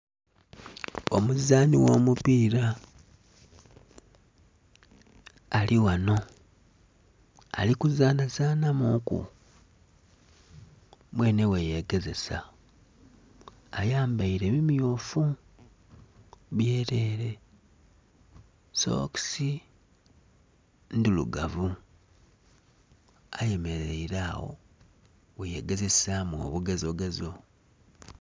Omuzani ogho mupira alighanho alikuzanhazanha muku mwenhe gheyegezisa ayambere bimyufu byerere sookisi ndhirugavu ayemerere agho bweyegezesamu obugezo